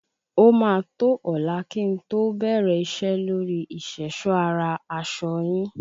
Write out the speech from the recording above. Ó maa tó ọlá kí n to be iṣẹ́ lóríi ìṣèṣọ́ ara aṣọ yín.